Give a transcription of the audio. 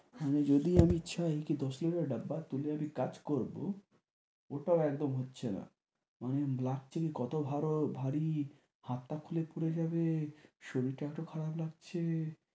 আমি যদি আমি চাই কী দশ লিটারের ডাব্বা তুলে আমি কাজ করব ওটাও একদম হচ্ছে না। মানে লাগছে কী কত ভারো~ ভারী, হাতটা খুলে খুলে যাবে, শরীরটা এত খারাপ লাগছে।